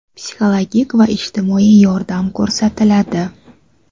psixologik va ijtimoiy yordam ko‘rsatiladi.